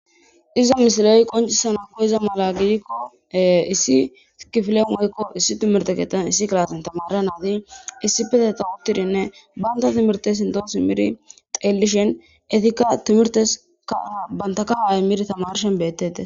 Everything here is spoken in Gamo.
iza misileey qoncisawu koyiza mala gidikko issi tikifile moykko issi timirteketan issi kalatan tamara naadi issi peteta uttirinne banta timirte sinto simiri xeellishen etikka timirteskbantaka amir tamarshen beettete